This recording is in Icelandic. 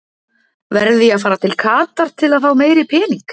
Verð ég að fara til Katar til fá meiri pening?